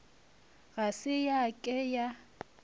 ga se ya ke ya